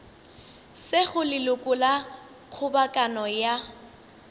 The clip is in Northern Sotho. sego leloko la kgobokano ya